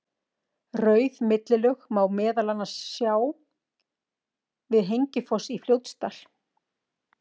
Rauð millilög má meðal annars sjá við Hengifoss í Fljótsdal.